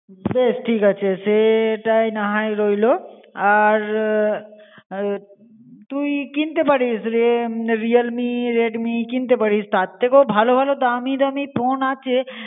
Base ঠিক আছে. সেটাই নাহোয় রইলো. আর এ তুই কিনতে প্যারিস Realme Redmi কিনতে পারিস. তার ঠিকেও ভালো ভালো দামি দামি ফোন আছে